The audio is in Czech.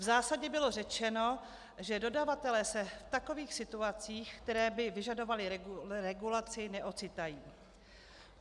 V zásadě bylo řečeno, že dodavatelé se v takových situacích, které by vyžadovaly regulaci, neocitají.